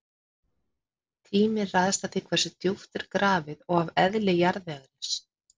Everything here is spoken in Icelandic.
Tíminn ræðst af því hversu djúpt er grafið og af eðli jarðvegarins.